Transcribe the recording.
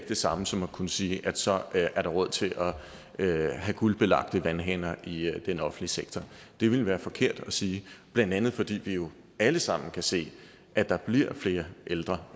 det samme som at kunne sige at så er der råd til at have guldbelagte vandhaner i den offentlige sektor det ville være forkert at sige blandt andet fordi vi jo alle sammen kan se at der bliver flere ældre